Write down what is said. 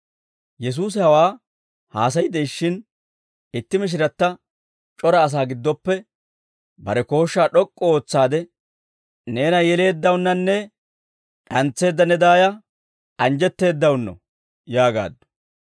Yesuusi hawaa haasay de'ishshin, itti mishiratta c'ora asaa giddoppe bare kooshshaa d'ok'k'u ootsaade, «Neena yeleeddawunnanne d'antseedda ne daaya anjjetteeddawunno» yaagaaddu.